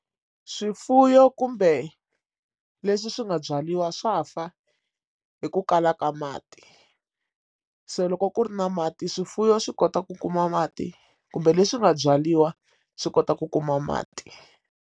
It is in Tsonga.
Swifuwo kumbe leswi swi nga byariwa swa fa hi ku kala ka mati so loko ku ri na mati swifuwo swi kota ku kuma mati kumbe leswi nga byariwa swi kota ku kuma mati.